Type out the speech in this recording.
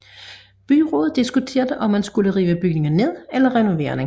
Byrådet diskuterede om man skulle rive bygningen ned eller renovere den